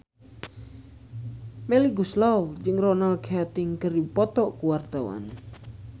Melly Goeslaw jeung Ronan Keating keur dipoto ku wartawan